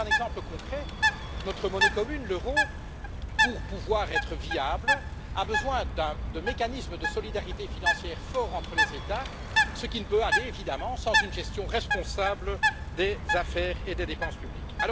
Pour prendre un exemple concret, notre monnaie commune, l'euro, pour pouvoir être viable, a besoin de mécanismes de solidarité financière forts entre les États, ce qui ne peut aller évidemment sans une gestion responsable des affaires et des dépenses publiques.